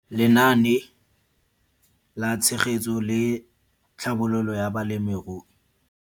Lenaane la Tshegetso le Tlhabololo ya Balemirui.